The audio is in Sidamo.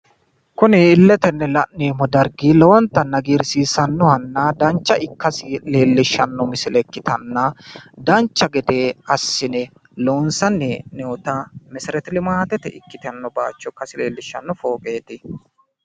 kuni illetenni la'neemmo dargi lowottanni hagiirsiisannohana dancha ikkasi leellishshanno misile ikkitanna dancha gede assi'ne loonsanni hee'noota meserete limaatete ikkitanno baaycho ikkasi leellishshanno fooqeeti.